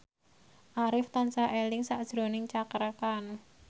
Arif tansah eling sakjroning Cakra Khan